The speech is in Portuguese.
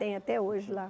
Tem até hoje lá.